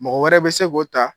Mɔgɔ wɛrɛ bɛ se k'o ta